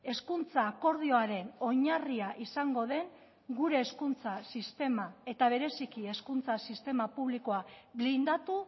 hezkuntza akordioaren oinarria izango den gure hezkuntza sistema eta bereziki hezkuntza sistema publikoa blindatu